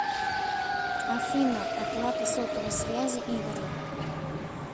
афина оплата сотовой связи игоря